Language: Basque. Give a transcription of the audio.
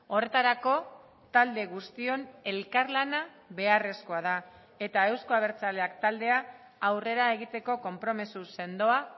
horretarako talde guztion elkarlana beharrezkoa da eta euzko abertzaleak taldea aurrera egiteko konpromiso sendoa